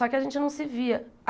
Só que a gente não se via.